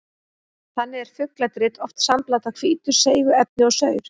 Þannig er fugladrit oft sambland af hvítu seigu efni og saur.